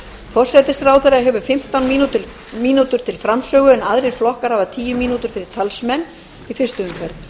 forsætisráðherra hefur fimmtán mínútur til framsögu en aðrir flokkar hafa tíu mínútur fyrir talsmenn í fyrstu umferð